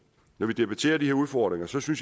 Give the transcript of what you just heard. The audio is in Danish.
når vi debatterer de her udfordringer synes jeg